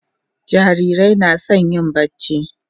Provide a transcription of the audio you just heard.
jarirai na San yin barci